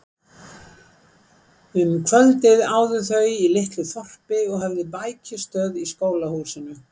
Um kvöldið áðu þau í litlu þorpi og höfðu bækistöð í skólahúsinu.